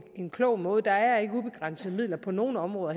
en klog måde der er ikke ubegrænsede midler på nogen områder og